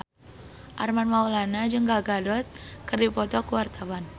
Armand Maulana jeung Gal Gadot keur dipoto ku wartawan